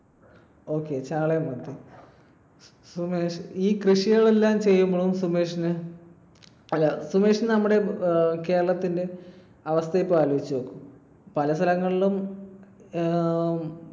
Okay ചാളയും മത്തിയും. സുമേഷ് ഈ കൃഷികളെല്ലാം ചെയ്യുമ്പോൾ സുമേഷിന് അല്ല സുമേഷിന് നമ്മുടെ കേരളത്തിന്റെ അവസ്ഥ ഇപ്പോൾ ആലോചിച്ചു നോക്കൂ. പല സ്ഥലങ്ങളിലും ഏർ